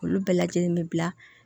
Olu bɛɛ lajɛlen mi bila